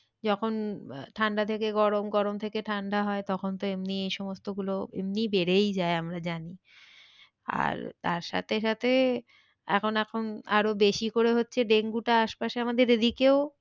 যখন ঠান্ডা থেকে গরম গরম থেকে ঠান্ডা হয় তখন তো এমনি এই সমস্ত গুলো এমনি বেড়েই যায় আমরা জানি আর তার সাথে সাথে এখন এখন আরো বেশি করে হচ্ছে ডেঙ্গুটা আশপাশে আমাদের এদিকেও